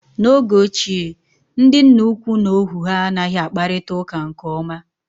N'oge ochie, ndị nna ukwu na ohu ha anghị akparịta uka nke ọma